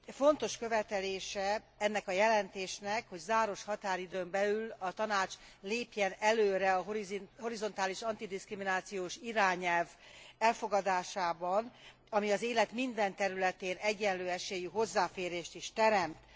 Fontos követelése ennek a jelentésnek, hogy záros határidőn belül a Tanács lépjen előre a horizontális antidiszkriminációs irányelv elfogadásában, ami az élet minden területén egyenlő esélyű hozzáférést is teremt.